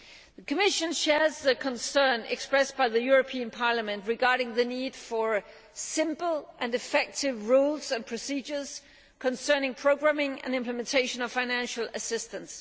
The Commission shares the concern expressed by Parliament regarding the need for simple and effective rules and procedures concerning programming and the implementation of financial assistance.